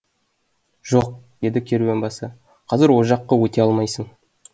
жоқ деді керуен басы қазір о жаққа өте алмайсың